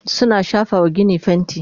suna shafawa ginin fainti